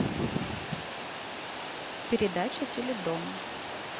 передача теледом